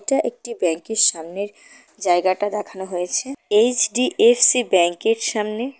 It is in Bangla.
এটা একটি ব্যাংকের সামনের জায়গাটা দেখানো হয়েছে এইচ_ডি_এফ_সি ব্যাংকের সামনে।